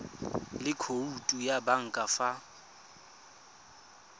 le khoutu ya banka fa